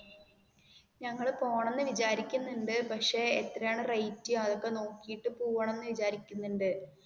ഞങ്ങൾ പോകണം എന്ന് വിചാരിക്കുണ്ട് പക്ഷേ എത്ര ആണ് റേറ്റ് അതൊക്കെ നോക്കിട്ട് പോകണം എന്ന്വിചാരിക്കുണ്ട്.